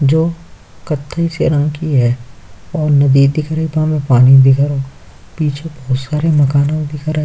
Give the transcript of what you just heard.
जो कत्थई से रंग की है और नदी दिख रही पानी दिख रहो | पीछे बहोत सारे मकान ओ दिख रहो ।